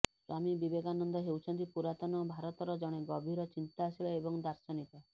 ସ୍ୱାମୀ ବିବେକାନନ୍ଦ ହେଉଛନ୍ତି ପୁରାତନ ଭାରତର ଜଣେ ଗଭୀର ଚିନ୍ତାଶୀଳ ଏବଂ ଦାର୍ଶନିକ